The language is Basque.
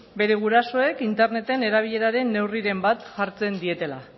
bere gurasoek interneten erabileraren neurriren bat hartzen dietela